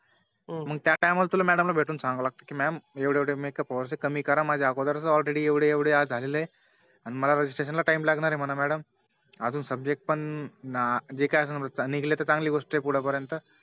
हम्म मग त्या TIme ला तुला Madam ला भेटून सांगावं लागत कि Mam एवढे एवढे MAkeup hours आहे कमी करा माझे अगोदरच Already एवढे एवढे जाहले आहे आणि मला Registration ला Time लागणार आहे Madam आजू Subject पण न जे काही असा निघाले तर चांगली गोष्ट आहे पुढे पर्यंत